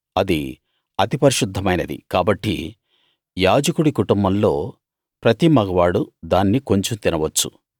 అది అతి పరిశుద్ధమైనది కాబట్టి యాజకుడి కుటుంబంలో ప్రతి మగవాడూ దాన్ని కొంచెం తినవచ్చు